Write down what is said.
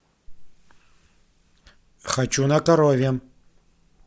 хочу на коровьем